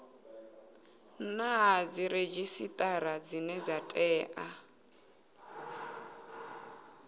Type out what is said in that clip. na dziredzhisitara dzine dza tea